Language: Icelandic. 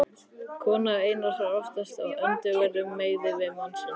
Kona Einars var oftast á öndverðum meiði við mann sinn.